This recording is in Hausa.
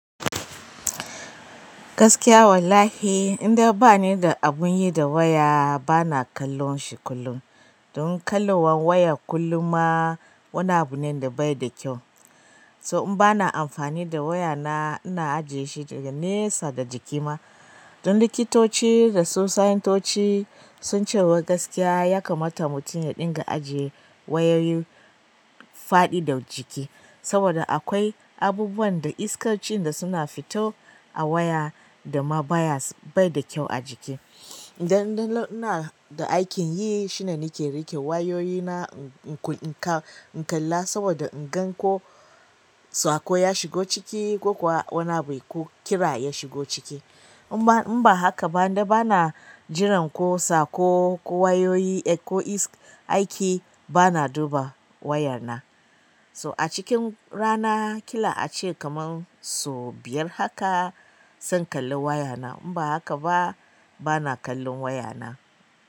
Gaskiya wallahi in dai ba ni da abun yi da waya, ba na kallon shi kullum. Don kallowan waya kullum ma wani abu nenda bayi da kyau to in bana amfani da wayana ina ajiyeshi daga nesa da jiki ma don likitoci da su sayintoci sun ce wai gaskiya ya kamata mutum ya dinga ajiye wayoyi faɗi da jiki. Saboda akwai abubuwan da iskarci da suna fito a waya da ma bayas bai da kyau a jiki. Idan indalo ina da aikin yi shine nake riƙe wayoyina in ku in ka in kalla saboda in gan ko saƙo ya shigo ciki ko kuwa wani abu ko kira ya shigo ciki. In ba in ba haka ba inda ba na jiran ko saƙo ko wayoyi ko is aiki ba na duba waya na. To a cikin rana ƙila ace kaman so biyar haka san kalli waya na. In ba haka ba, ba na kallon waya na.